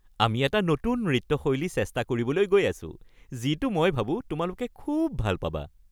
আমি এটা নতুন নৃত্য শৈলী চেষ্টা কৰিবলৈ গৈ আছো যিটো মই ভাবো তোমালোকে খুউব ভাল পাবা।